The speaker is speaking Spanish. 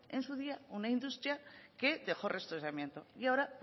en su día una industria que dejó restos de amianto y ahora